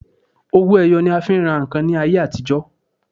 Owó ẹyọ ni a fi ń rà ǹkan ní àtijọ́.